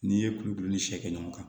N'i ye kulu kelen ni see kɛ ɲɔgɔn kan